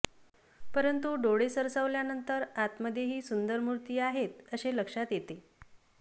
परंतु डोळे सरावल्यानंतर आतमध्येही सुंदर मूर्ती आहेत असे लक्षात येते